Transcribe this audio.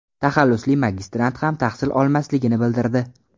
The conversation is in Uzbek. taxallusli magistrant ham tahsil olmasligini bildirdi .